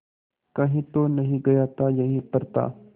कहीं तो नहीं गया था यहीं पर था